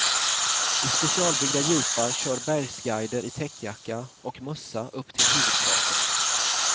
I specialbyggda jeepar kör bergsguider i täckjacka och mössa upp till huvudkratern.